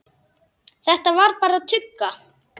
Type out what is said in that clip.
Þetta var bara tugga.